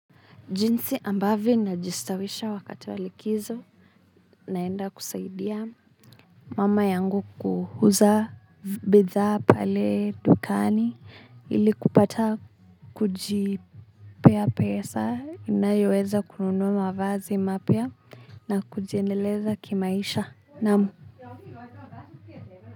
Jinsi ambavyo najistawisha wakati wa likizo naenda kusaidia mama yangu kuuza bidhaa pale dukani ili kupata kujipea pesa inayoweza kununua mavazi mapya na kujiendeleza kimaisha, naam.